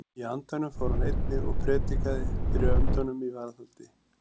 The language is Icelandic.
Í andanum fór hann einnig og prédikaði fyrir öndunum í varðhaldi.